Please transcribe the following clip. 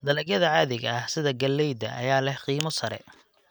Dalagyada caadiga ah sida galleyda ayaa leh qiimo sare.